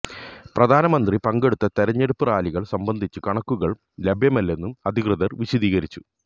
പ്രധാനമന്ത്രി പങ്കെടുത്ത തെരഞ്ഞെടുപ്പ് റാലികള് സംബന്ധിച്ച് കണക്കുകള് ലഭ്യമല്ലെന്നും അധികൃതര് വിശദീകരിച്ചു